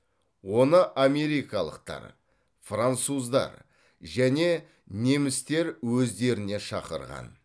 оны америкалықтар француздар және немістер өздеріне шақырған